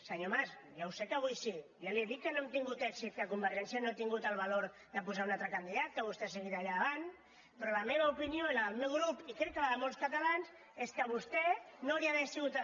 senyor mas ja sé que avui sí ja li he dit que no hem tingut èxit que convergència no ha tingut el valor de posar un altre candidat que vostè ha seguit allà davant però la meva opinió i la del meu grup i crec que la de molts catalans és que vostè no hauria d’haver sigut